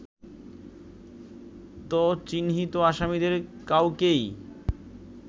ত চিহ্নিত আসামিদের কাউকেই